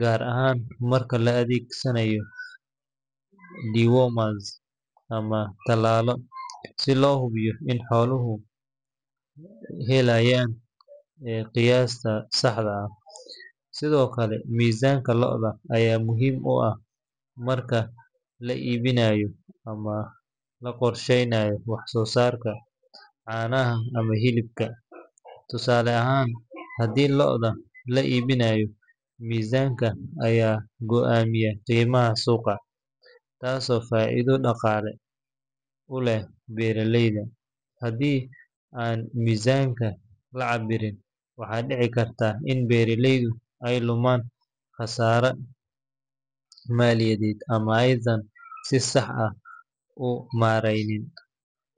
gaar ahaan marka la adeegsanayo dewormers ama tallaallo, si loo hubiyo in xooluhu helayaan qiyaasta saxda ah. Sidoo kale, miisaanka lo’da ayaa muhiim u ah marka la iibinayo ama la qorsheynayo wax-soosaarka caanaha ama hilibka. Tusaale ahaan, haddii lo’da la iibinayo, miisaanka ayaa go’aamiya qiimaha suuqa, taasoo faa’iido dhaqaale u leh beeraleyda. Haddii aan miisaanka la cabbirin, waxaa dhici karta in beeraleydu ay lumaan khasaare maaliyadeed, ama aysan si sax ah u maareynin.